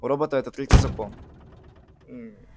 у робота это третий закон мм